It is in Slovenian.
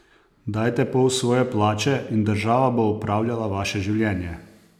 Dajte pol svoje plače in država bo upravljala vaše življenje?